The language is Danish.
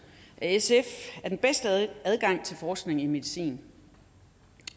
af sf er den bedste adgang til forskning i medicin